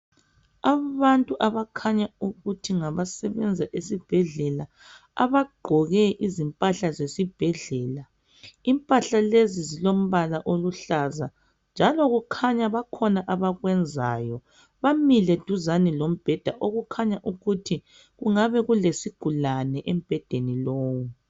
Abantu abakhanya ukuthi ngabasebenza esibhedlela abagqoke izimpahla zesibhedlela. Impahla lezi zilombala oluhlaza njalo kukhanya bakhona abakwenzayo bamile duzane lombheda okukhanya ukuthi kungabe kulesigulane embhedeni lowu.